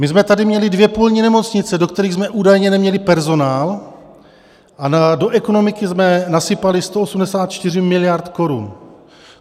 My jsme tady měli dvě polní nemocnice, do kterých jsme údajně neměli personál, a do ekonomiky jsme nasypali 184 miliard korun.